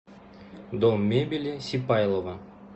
дом мебели сипайлово